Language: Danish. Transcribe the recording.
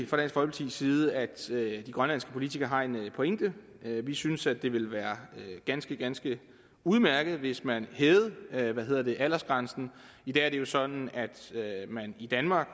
folkepartis side at de grønlandske politikere har en pointe vi synes at det ville være ganske ganske udmærket hvis man hævede aldersgrænsen i dag er det jo sådan at man i danmark